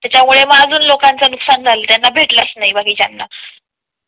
त्याच्या मुळे अजून लोकांचा नुकसान झाले, त्यांना भेटलाच नाही बाकीच्यां ना